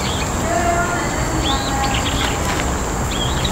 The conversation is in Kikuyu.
Nĩũrĩ wona nyoni ya marangi mwanyamwanya?